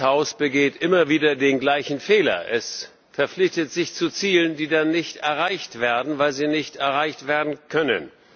Dieses Haus begeht immer wieder den gleichen Fehler Es verpflichtet sich zu Zielen, die dann nicht erreicht werden, weil sie nicht erreicht werden können.